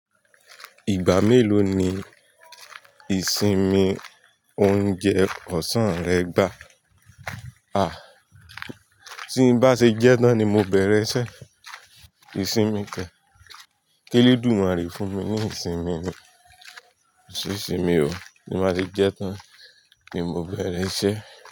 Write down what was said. Ìgbà mélòó ni ìsinmi oúnjẹ ọ̀sán rẹ gbà? A! Tí n bá ṣe jẹ tán ni mo bẹ̀rẹ̀ iṣẹ́. Ìsinmi kẹ̀. Kí eledumare fún mi ní ìsinmi mi? Ìsinmi o. Tí n bá ti jẹ tán ni mo bẹ̀rẹ̀ iṣẹ́